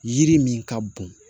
Yiri min ka bon